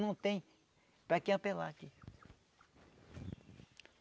Não tem para quem apelar aqui.